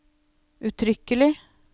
uttrykkelig